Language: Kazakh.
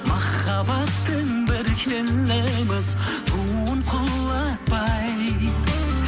махаббаттың бір келеміз туын құлатпай